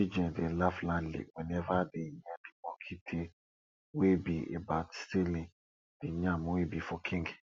children dey laugh loudly whenever dey hear de monkey tale wey be about stealing de yam wey be for king